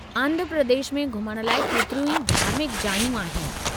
आंध्र प्रदेश में घुमण लाइ केतिरियूं ई धार्मिक जायूं आहिनि।